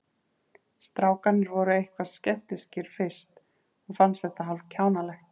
Strákarnir voru eitthvað skeptískir fyrst og fannst þetta hálf kjánalegt.